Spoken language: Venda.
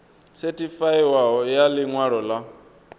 sethifaiwaho ya ḽi ṅwalo ḽa